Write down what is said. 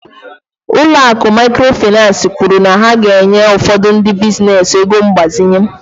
Ụlọ akụ Mikrofainansi kwuru na ha ga-enye ụfọdụ ndị biznes ego mgbazinye.